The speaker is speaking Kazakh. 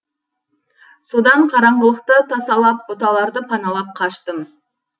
содан қараңғылықты тасалап бұталарды паналап қаштым